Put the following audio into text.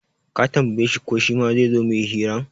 Ka tambaye shi ko shima zaizo muyi hiran?